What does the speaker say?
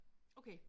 Okay